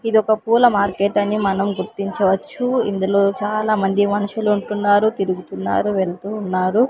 ఇదొక పూల మార్కెట్ అని మనం గుర్తించవచ్చు ఇందులో చాలా మంది మనుషులు ఉంటున్నారు తిరుగుతున్నారు వెళ్తూ ఉన్నారు.